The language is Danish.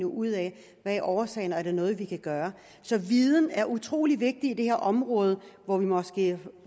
ud af hvad årsagen er er noget vi kan gøre så viden er utrolig vigtig på det her område hvor vi måske